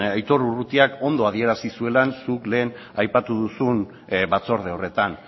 aitor urrutiak ondo adierazi zuela zuk lehen aipatu duzun batzorde horretan